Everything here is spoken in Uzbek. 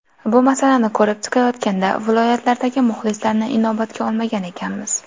Bu masalani ko‘rib chiqayotganda viloyatlardagi muxlislarni inobatga olmagan ekanmiz.